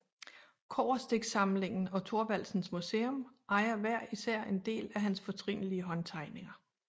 Kobberstiksamlingen og Thorvaldsens Museum ejer hver især en del af hans fortrinlige håndtegninger